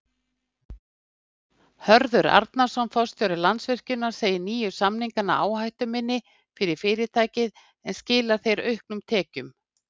Hörður Arnarson, forstjóri Landsvirkjunar segir nýju samningana áhættuminni fyrir fyrirtækið en skila þeir auknum tekjum?